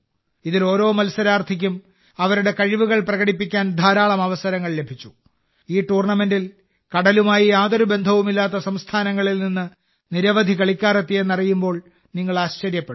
ഇതിൽ ഓരോ മത്സരാർത്ഥിക്കും അവരുടെ കഴിവുകൾ പ്രകടിപ്പിക്കാൻ ധാരാളം അവസരങ്ങൾ ലഭിച്ചു ഈ ടൂർണമെന്റിൽ കടലുമായി യാതൊരു ബന്ധവുമില്ലാത്ത സംസ്ഥാനങ്ങളിൽ നിന്ന് നിരവധി കളിക്കാർ എത്തിയെന്നറിയുമ്പോൾ നിങ്ങൾ ആശ്ചര്യപ്പെടും